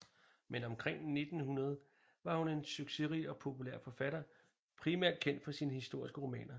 Men omkring 1900 var hun en succesrig og populær forfatter primært kendt for sine historiske romaner